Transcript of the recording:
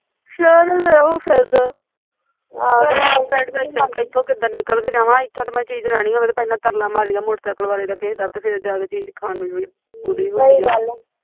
ਸਹਿਰ ਦਾ ਇਹੋ ਫ਼ੈਦਾ ਇੱਥੋਂ ਕਿੱਡਾ ਨਿਕਲ ਕੇ ਜਵ ਇੱਥੋਂ ਜੇ ਚੀਜ਼ ਲੈਨੀ ਹੋਵੇ ਤਾਂ ਪਹਿਲਾਂ ਤਰਲਾ ਮਰੀਦਾ ਕਿਸੇ ਮੋਟਰਸੈਕਲ ਵਾਲੇ ਦਾ ਤੇ ਫੇਰ ਜਾਂ ਕੇ ਚੀਜ਼ ਖਾਣ ਨੂੰ ਮਿਲਦੀ